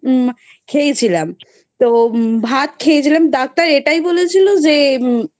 খেয়েছিলাম ভাত খেয়েছিলাম. Doctor এটাই বলেছিল যে